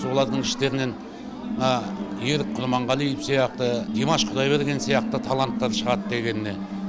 олардың ішітерінен ерік құрманғалиев сияқты димаш құдайберген сияқты таланттар шығады дегеніне